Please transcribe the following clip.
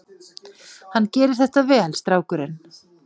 Hann gerir þetta vel, strákurinn.